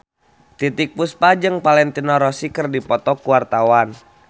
Titiek Puspa jeung Valentino Rossi keur dipoto ku wartawan